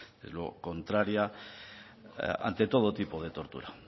contraria ante todo tipo de tortura